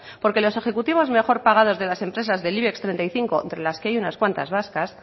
porque los ejecutivos mejor pagados de las empresas del ibex treinta y cinco entre las que hay unas cuantas vascas